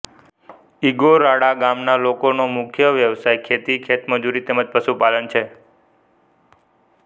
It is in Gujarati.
ઇંગોરાળા ગામના લોકોનો મુખ્ય વ્યવસાય ખેતી ખેતમજૂરી તેમ જ પશુપાલન છે